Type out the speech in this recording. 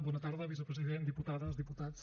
bona tarda vicepresident diputades diputats